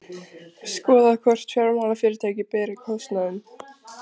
Skoðað hvort fjármálafyrirtæki beri kostnaðinn